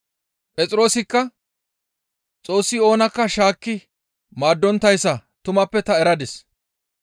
Phexroosikka, «Xoossi oonakka shaakki maaddonttayssa tumappe ta eradis.